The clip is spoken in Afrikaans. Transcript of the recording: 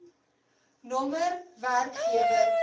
nr werkgewer datum